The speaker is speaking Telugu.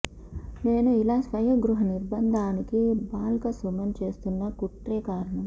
నేను ఇలా స్వీయ గృహ నిర్భందానికి బాల్క సుమన్ చేస్తున్న కుట్రే కారణం